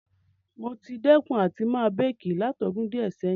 Mo ti dẹ́kun àti ma bake látodún díẹ̀ sẹ̀hin